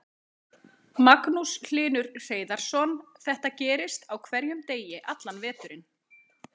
Magnús Hlynur Hreiðarsson: Þetta gerist á hverjum degi allan veturinn?